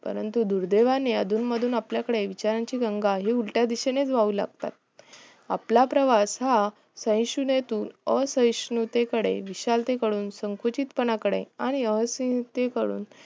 परंतु दुर्देवाने अधून मधून आपल्याकडे विचारांची गंगा उलटल्या दिशेने वाहू लागतात आपला प्रवास हा सहिष्णुतेतून असहिष्णुतेकडे विशालकडून संकोचित पणाकडे आणि असयुक्त कडून